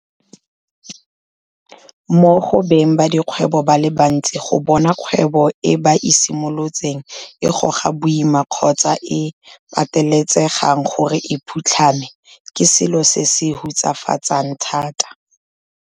Mo go beng ba dikgwebo ba le bantsi go bona kgwebo e ba e simolotseng e goga boima kgotsa e patelesegang gore e phutlhame, ke selo se se hutsafatsang thata.